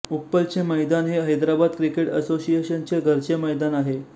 उप्पलचे मैदान हे हैदराबाद क्रिकेट असोसिएशनचे घरचे मैदान आहे